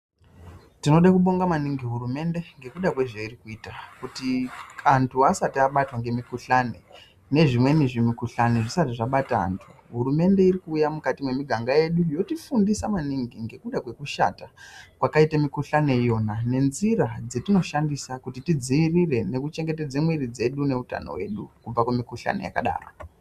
Tinode kubonga maningi hurumende ngekuda kwezveiri kuita kuti antu asati abatwa ngemikhuhlani, nezvimweni zvimikhuhlani zvisati zvabata antu, hurumende iri kuuya mukati mwemiganga yedu ,yotifundisa maningi ngekuda kwekushata kwakaite mikhuhlani iyona ,nenzira dzetinoshandisa ,kuti tidziirire nekuchengetedze mwiri dzedu neutano hwedu, kubva kumikhuhlani yakadaro.